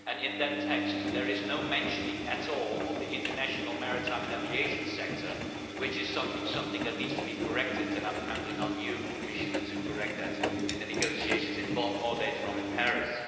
In that text there is no mention at all of the international maritime and aviation sector, which is something that needs to be corrected and I am counting on you, Commissioner, to correct that in the negotiations in Bonn or later on in Paris.